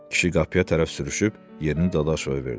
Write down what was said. Kişi qapıya tərəf sürüşüb yerini Dadaşova verdi.